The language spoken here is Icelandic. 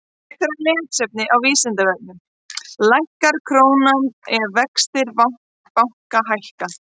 Frekara lesefni á Vísindavefnum: Lækkar krónan ef vextir banka hækka?